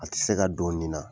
A tɛ se ka don nin na